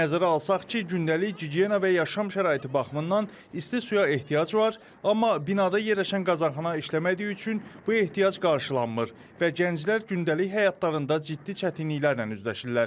Nəzərə alsaq ki, gündəlik gigiyena və yaşam şəraiti baxımından isti suya ehtiyac var, amma binada yerləşən qazanxana işləmədiyi üçün bu ehtiyac qarşılanmır və gənclər gündəlik həyatlarında ciddi çətinliklərlə üzləşirlər.